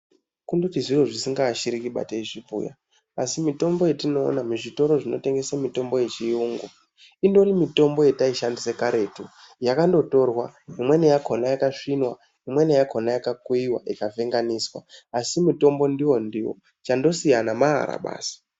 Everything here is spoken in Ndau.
Kundoti zviro zvisikaashiriki ba teizvibhuya asi mitombo yatinoona muzvitoro zvinotengese mitombo yechiyungu indori mitombo yati shandise karetu, yakandotorwa imweni yakona yaka svinwa, imweni yakona yakakuyiwa ika venga niswa asi mutombo wakona ndiwo ndiwo chando. siyana maara basi.